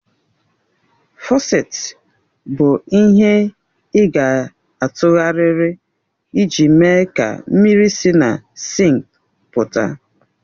Fọsèti i bụ ihe ị ga-atụgharịrị iji mee ka mmiri si na sinkị pụta.